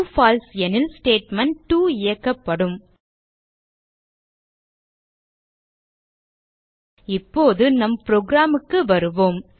பால்சே எனில் ஸ்டேட்மெண்ட்2 இயக்கப்படும் இப்போது நம் புரோகிராம் க்கு வருவோம்